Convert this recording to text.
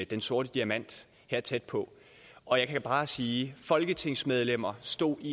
den sorte diamant her tæt på og jeg kan bare sige folketingsmedlemmer stod i